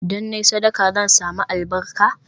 Idan na yi sadaka, zan sami albarka?